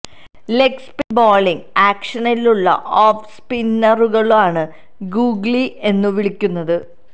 leg spin bowling ആക്ഷനിലുള്ള off സ്പിന്നറുകളെയാണ് googly എന്നു വിളിക്കുന്നത്